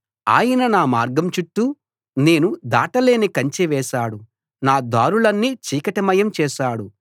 ఆయన నా మార్గం చుట్టూ నేను దాట లేని కంచె వేశాడు నా దారులన్నీ చీకటిమయం చేశాడు